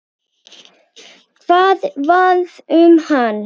Hvað varð um hann?